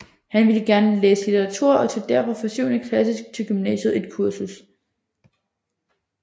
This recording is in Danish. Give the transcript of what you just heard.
Han ville gerne læse litteratur og tog derfor fra syvende klasse til gymnasiet et kursus